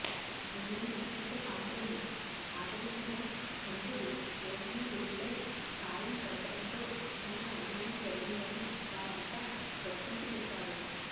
మిగిలిన నక్షత్రకాంతలను ఆదరించక చంద్రుడు రోహిణీలోలుడై కాలం గడపటంతో తమకు అన్యాయం జరిగిందని వారంతా దక్షునికి చెబుతారు